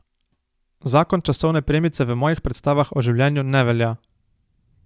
Zakon časovne premice v mojih predstavah o življenju ne velja.